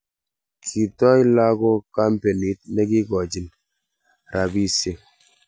Kitoi lakok kampenit nekikochin rabisiek